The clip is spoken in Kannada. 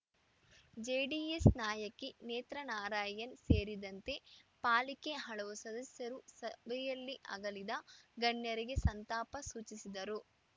ಜೆಡಿಎಸ್‌ ನಾಯಕಿ ನೇತ್ರಾ ನಾರಾಯಣ್‌ ಸೇರಿದಂತೆ ಪಾಲಿಕೆ ಹಲವು ಸದಸ್ಯರು ಸಭೆಯಲ್ಲಿ ಅಗಲಿದ ಗಣ್ಯರಿಗೆ ಸಂತಾಪ ಸೂಚಿಸಿದರು